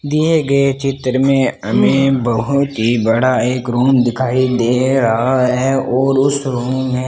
दिए गए चित्र में हमें बहुत ही बाद एक रूम दिखाई दे रहा है और उसे रूम में --